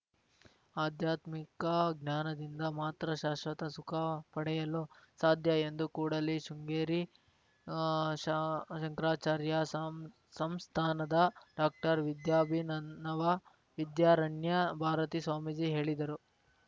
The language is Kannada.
ಆಧ್ಯಾತ್ಮಿಕ ಜ್ಞಾನದಿಂದ ಮಾತ್ರ ಶಾಶ್ವತ ಸುಖ ಪಡೆಯಲು ಸಾಧ್ಯ ಎಂದು ಕೂಡಲಿ ಶೃಂಗೇರಿ ಶಾ ಶಂಕರಾಚಾರ್ಯ ಸಂಸ್ಥಾನದ ಡಾಕ್ಟರ್ ವಿದ್ಯಾಭಿನವ ವಿದ್ಯಾರಣ್ಯ ಭಾರತಿ ಸ್ವಾಮೀಜಿ ಹೇಳಿದರು